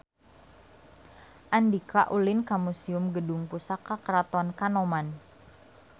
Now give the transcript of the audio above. Andika ulin ka Museum Gedung Pusaka Keraton Kanoman